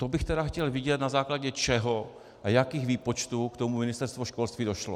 To bych tedy chtěl vidět, na základě čeho a jakých výpočtů k tomu Ministerstvo školství došlo.